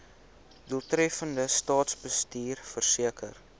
doeltreffende staatsbestuur verseker